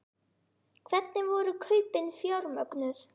Hvernig voru kaupin fjármögnuð?